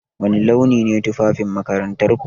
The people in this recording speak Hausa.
Wani launi ne tufafin makarantarku?